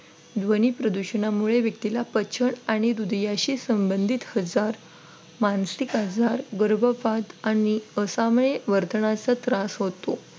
ध्वनी प्रदूषणामुळे व्यक्तीला पचन आणि हृदयाशी संबंधित आजार मानसिक आजार गर्भपात आणि असामाई वर्तनाचा त्रास होतो.